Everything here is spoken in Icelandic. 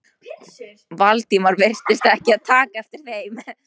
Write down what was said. Valdimar virtist ekki taka eftir þeim.